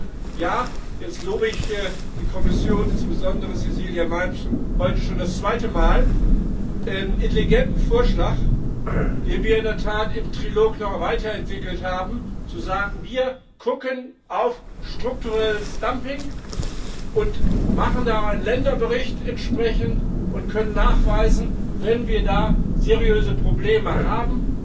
Insofern Ja, jetzt lobe ich die Kommission, insbesondere Cecilia Malmström, heute schon das zweite Mal, ihren intelligenten Vorschlag, den wir in der Tat im Trilog noch weiterentwickelt haben, zu sagen Wir gucken auf strukturelles Dumping und machen da entsprechend einen Länderbericht und können nachweisen, wenn wir da seriöse Probleme haben.